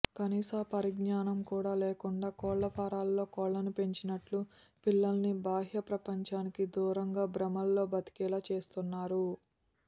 కనీస పరిజ్ఞానం కూడా లేకుండా కోళ్ళ ఫారాల్లో కోళ్లను పెంచినట్టు పిల్లల్ని బాహ్యప్రపంచానికి దూరంగా భ్రమల్లో బతికేలా చేస్తున్నారు